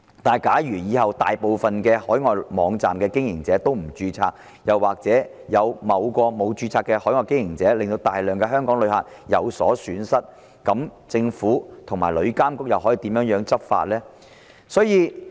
然而，如果日後大部分海外網站的經營者都不註冊，又或有某個沒有註冊的海外經營者令到大量香港旅客有所損失，政府和旅監局又可以如何執法呢？